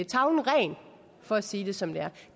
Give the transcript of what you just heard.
tavlen ren for at sige det som det er